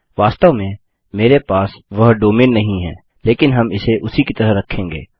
वास्तव में मेरे पास वह डोमैन नाम नहीं है लेकिन हम इसे उसी की तरह रखेंगे